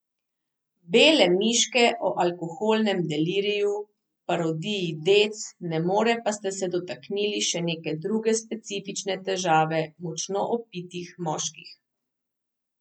Bele miške o alkoholnem deliriju, v parodiji Dec ne more pa ste se dotaknili še neke druge specifične težave močno opitih moških.